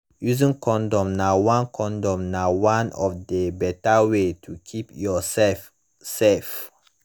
using condom na one condom na one of the better way to keep yourself safe